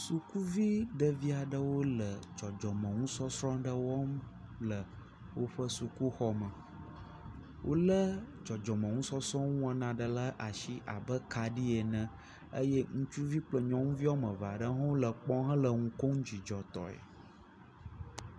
Sukuvi ɖe aɖewo le dzɔdzɔme nusɔsrɔ̃ aɖe wɔm le woƒe sukuxɔ me. Wolé dzɔdzɔme nusɔsrɔ̃ nuwɔna ɖe ɖe asi abe kaɖi ene eye ŋutsuvi kple nyɔnuvi woame eve ɖe hã le kpɔm hele nu kom dzidzɔtɔe.